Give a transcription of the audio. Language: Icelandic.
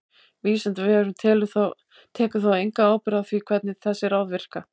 Vísindavefurinn tekur þó enga ábyrgð á því hvernig þessi ráð virka.